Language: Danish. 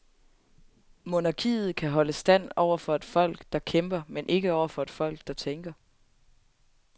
Monarkiet kan holde stand over for et folk, der kæmper, men ikke over for et folk, der tænker.